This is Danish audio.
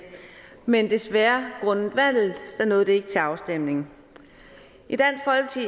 men desværre ikke til afstemning